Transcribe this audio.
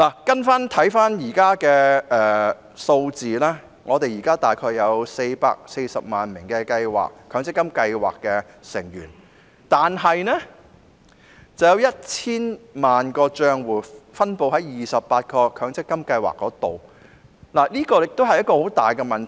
根據目前的數字，香港現時約有440萬名強積金計劃成員，但卻有 1,000 萬個帳戶分布於28個強積金計劃，這是一個大問題。